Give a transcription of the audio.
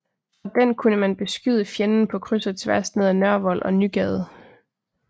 Fra den kunne man beskyde fjenden på kryds og tværs ned ad Nørrevold og Nygade